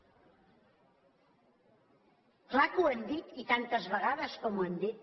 clar que ho hem dit i tantes vegades com ho hem dit